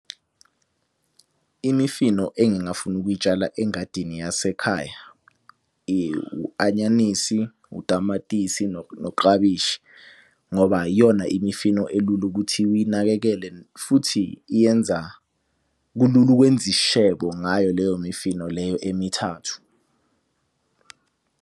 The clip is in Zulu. Imifino engingafuna ukuyitshala engadini yasekhaya, u-anyanisi, utamatisi, noklabishi. Ngoba yiyona imifino elula ukuthi uyinakekele futhi iyenza, kulula ukwenza isishebo ngayo leyo mifino leyo emithathu.